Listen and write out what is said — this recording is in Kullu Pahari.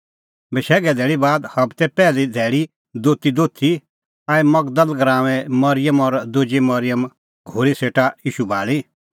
बशैघे धैल़ी बाद हबते पैहली धैल़ी दोती दोथी आई मगदल़ गराऊंए मरिअम और दुजी मरिअम घोरी सेटा ईशू भाल़ी